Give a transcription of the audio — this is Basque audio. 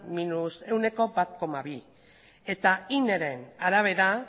bat koma bia eta ineren arabera